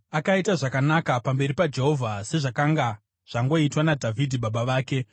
Akaita zvakanaka pamberi paJehovha, sezvakanga zvangoitwa naDhavhidhi baba vake.